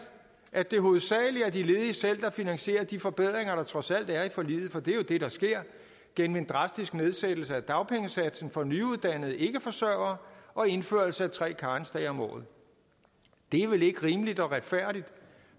at det hovedsagelig er de ledige selv der finansierer de forbedringer der trods alt er i forliget for det er jo det der sker gennem en drastisk nedsættelse af dagpengesatsen for nyuddannede ikkeforsørgere og indførelse af tre karensdage om året det er vel ikke rimeligt og retfærdigt